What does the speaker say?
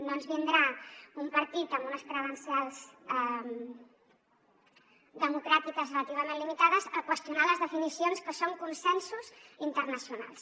no ens vindrà un partit amb unes credencials democràtiques relativament limitades a qüestionar les definicions que són consensos internacionals